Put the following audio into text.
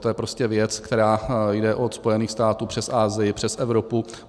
To je prostě věc, která jde od Spojených států přes Asii, přes Evropu.